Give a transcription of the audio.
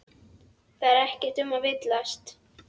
Það er ekkert um að villast.